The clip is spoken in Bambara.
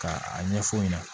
Ka a ɲɛf'u ɲɛna